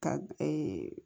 Ka